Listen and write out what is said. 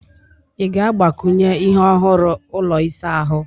Ị ga-agbakwunye ihe ọhụrụ ụlọ ịsa ahụ?